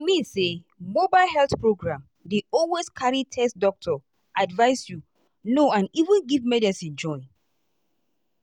i mean say mobile health program dey always carry test doctor advice you know and even give medicine join.